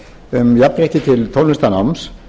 um jafnrétti til tónlistarnáms